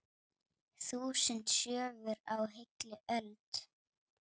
Þúsund sögur á heilli öld.